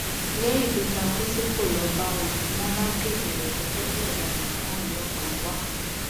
lẹyìn tó takú tí kò lọọ báwọn ni wọn bá kéde rẹ gẹgẹ bí ọdaràn táwọn ọlọpàá ń wá